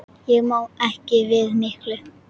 Ég má ekki við miklu.